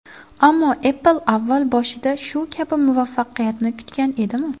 Ammo Apple avval boshida shu kabi muvaffaqiyatni kutgan edimi?